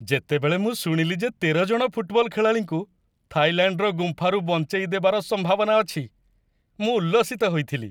ଯେତେବେଳେ ମୁଁ ଶୁଣିଲି ଯେ ୧୩ ଜଣ ଫୁଟବଲ୍ ଖେଳାଳିଙ୍କୁ ଥାଇଲାଣ୍ଡର ଗୁମ୍ଫାରୁ ବଞ୍ଚାଇଦେବାର ସମ୍ଭାବନା ଅଛି, ମୁଁ ଉଲ୍ଲସିତ ହୋଇଥିଲି।